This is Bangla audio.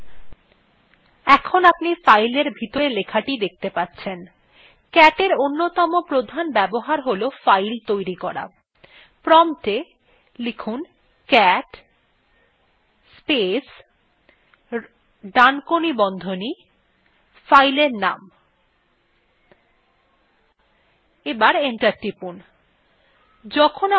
in আপনি fileটির ভিতরের লেখাটি দেখতে পাচ্ছেন cat in অন্যতম প্রধান ব্যবহার হল file তৈরি করা prompt a cat space ডানকোনি বন্ধনী space file নাম লিখে enter টিপুন